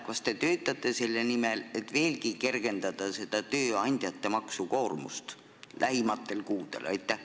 Kas te töötate selle nimel, et lähikuudel veelgi tööandjate maksukoormust kergendada?